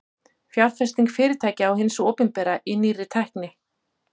Fjárfesting fyrirtækja og hins opinbera í nýrri tækni.